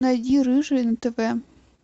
найди рыжий на тв